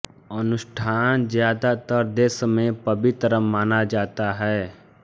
अनुष्ठान ज्यादातर देश में पवित्र माना जाता है